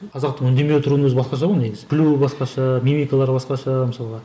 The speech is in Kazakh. қазақтың үндемей отыруының өзі басқаша ғой негізі күлуі басқаша мимикалары басқаша мысалға